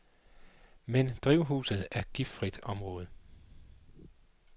Men drivhuset er giftfrit område.